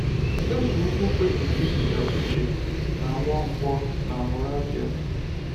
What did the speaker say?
Eze ukwu kpebiri iziga Uche na Nwankwo na Moravia.